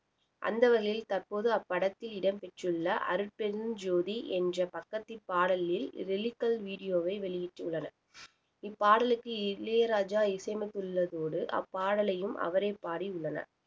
அந்த வகையில் தற்போது அப்படத்தில் இடம்பெற்றுள்ள அருட்பெருஞ்ஜோதி என்ற பக்கதி பாடலில் lyrical video வை வெளியிட்டுள்ளனர் இப்பாடலுக்கு இளையராஜா இசையமைத்துள்ளதோடு அப்பாடலையும் அவரே பாடியுள்ளனர்